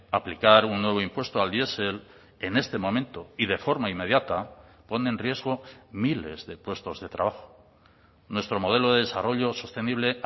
aplicar un nuevo impuesto al diesel en este momento y de forma inmediata pone en riesgo miles de puestos de trabajo nuestro modelo de desarrollo sostenible